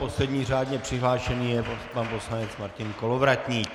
Poslední řádně přihlášený je pan poslanec Martin Kolovratník.